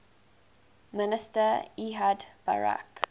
minister ehud barak